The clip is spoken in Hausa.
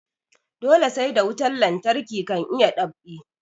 Dole sai da wutan lantarki kan a iya dab'i